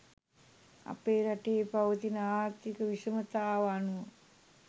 අප රටේ පවතින ආර්ථික විෂමතාව අනුව